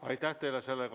Aitäh teile!